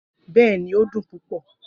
Bẹẹni, o dun pupọ.